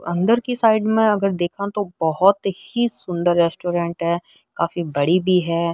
अंदर की साइड में अगर देखा तो बहोत ही सुन्दर रेस्टोरेंट है काफी बड़ी भी है।